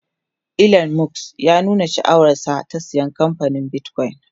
Elon Musk ya nuna sha'awar sa na saya kamfanin bitcoin